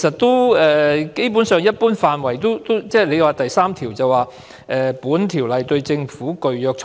當局又表示，《種族歧視條例》第3條訂明"本條例對政府具約束力"。